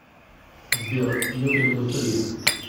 сбер йота индустрия